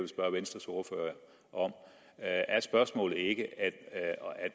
spørge venstres ordfører om er spørgsmålet ikke at